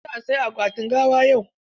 Za a saya akwatin gawan yau?